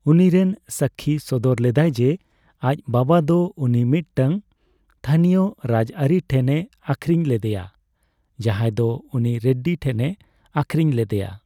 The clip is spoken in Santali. ᱩᱱᱤᱨᱮᱱ ᱥᱟᱹᱠᱠᱷᱤ ᱥᱚᱫᱚᱨ ᱞᱮᱫᱟᱭ ᱡᱮ ᱟᱡ ᱵᱟᱵᱟᱫᱚ ᱩᱱᱤ ᱢᱤᱫᱴᱟᱝ ᱛᱷᱟᱹᱱᱤᱭᱚ ᱨᱟᱡᱽᱟᱹᱨᱤ ᱦᱚᱲ ᱴᱷᱮᱱᱮ ᱟᱠᱷᱨᱤᱧ ᱞᱮᱫᱮᱭᱟ, ᱡᱟᱦᱟᱸᱭ ᱫᱚ ᱩᱱᱤ ᱨᱮᱰᱰᱤ ᱴᱷᱮᱱᱮ ᱟᱠᱷᱨᱤᱧ ᱞᱮᱫᱮᱭᱟ ᱾